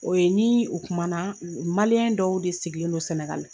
O ye ni u kumana, u u dɔw de sigilen do Senegal.